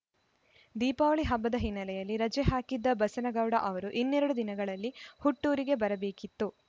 ದೀಪಾವಳಿ ಹಬ್ಬದ ಹಿನ್ನೆಲೆಯಲ್ಲಿ ರಜೆ ಹಾಕಿದ್ದ ಬಸನಗೌಡ ಅವರು ಇನ್ನೆರಡು ದಿನಗಳಲ್ಲಿ ಹುಟ್ಟೂರಿಗೆ ಬರಬೇಕಿತ್ತು